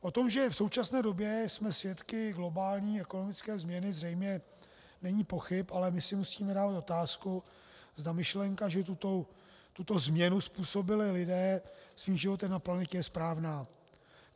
O tom, že v současné době jsme svědky globální ekonomické změny, zřejmě není pochyb, ale my si musíme dávat otázku, zda myšlenka, že tuto změnu způsobili lidé svým životem na planetě, je správná.